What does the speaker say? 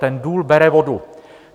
Ten důl bere vodu.